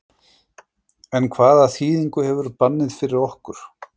En hvaða þýðingu hefur bannið fyrir okkur?